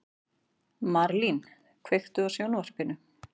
Marlín, kveiktu á sjónvarpinu.